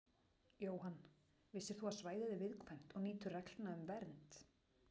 Jóhann: Vissir þú að svæðið er viðkvæmt og nýtur reglna um vernd?